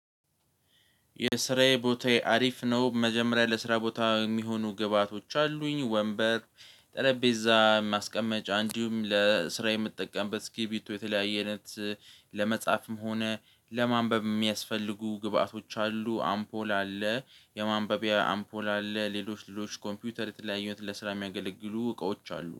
የስራዬ ቦታዬ አሪፍ ነው። መጀመሪያ ለስራ ቦታ የሚሆኑ ግብአቶች አሉኝ ወንበር ጠረጴዛ ማስቀመጫ እንዲሁም ለስራ የምጠቀምበት ስኪርቢቶ የተለያየ አይነት ለመጻፍም ሆነ ለማንበብ የሚያስፈልጉ ግብአቶች አሉ። አምፖል አለ የማንበቢያ አምፖል አለ ሌሎች ሌሎች ኮምፒውተር የተለያዩት ለስራ የሚያገለግሉ እቃዎች አሉ